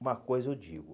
Uma coisa eu digo.